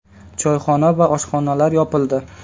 Choyxona va oshxonalar yopildi.